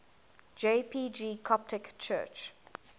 jpg coptic church